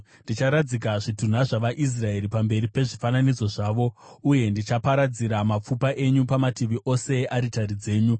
Ndicharadzika zvitunha zvavaIsraeri pamberi pezvifananidzo zvavo, uye ndichaparadzira mapfupa enyu pamativi ose earitari dzenyu.